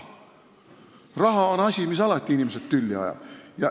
Raha on asi, mis inimesed alati tülli ajab.